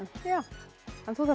þú þarft